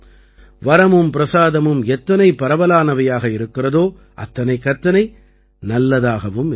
வரமும் பிரசாதமும் எத்தனை பரவலானவையாக இருக்கிறதோ அத்தனைக்கத்தனை நல்லதாகவும் இருக்கும்